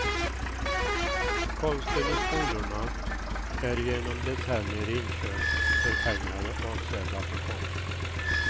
Konsten i skolorna är genom decennier inköpt för pengar avsedda för konst.